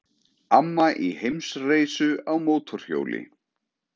Amma í heimsreisu á mótorhjóli